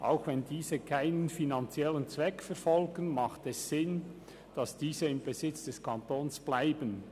Auch wenn diese keinen finanziellen Zweck verfolgen, macht es Sinn, dass sie im Besitz des Kantons bleiben.